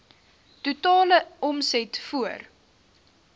totale omset voor